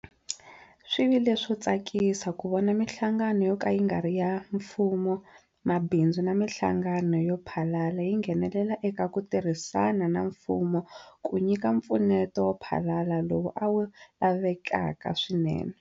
Swi vi le swo tsakisa ku vona mihlangano yo ka yi nga ri ya mfumo, mabindzu na mihlangano yo phalala yi nghenelela eka ku tirhisana na mfumo ku nyika mpfuneto wo phalala lowu a wu lavekaka swinene.